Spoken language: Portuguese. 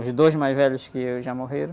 Os dois mais velhos que já morreram.